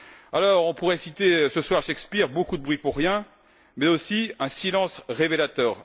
Alors, on pourrait citer ce soir Shakespeare Beaucoup de bruit pour rien, mais aussi un silence révélateur.